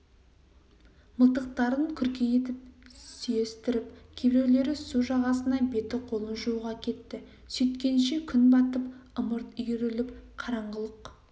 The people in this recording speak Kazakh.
мылтықтарын күрке етіп сүйестіріп кейбіреулері су жағасына беті-қолын жууға кетті сөйткенше күн батып ымырт үйіріліп қараңғылық